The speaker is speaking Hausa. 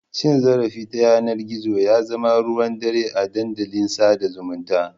Cin zarafi ta yanar gizo ya zama ruwan dare a dandalin sada zumunta.